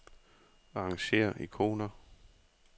Arrangér ikoner.